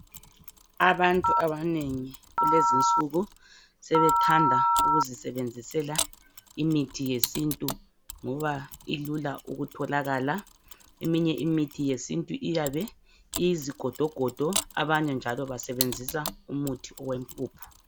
Abantu abanengi kulezinsuku sebethanda ukuzisebenzisela imithi yesintu ngoba ilula ukutholakala, eminye imithi yesintu iyabe iyizigodo godo abanye njalo basebenzisa umuthi wempuphu.